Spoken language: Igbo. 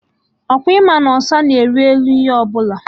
Ọkwa ịma na ọsa na-ari elu ihe ọbụla?